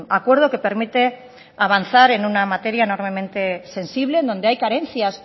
acuerdo que permite avanzar en una materia enormemente sensible donde hay carencias